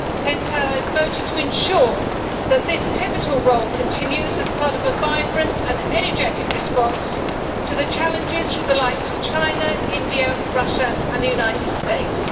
Hence I voted to ensure that this pivotal role continues as part of a vibrant and energetic response to the challenges from the likes of China, India, Russia and the United States.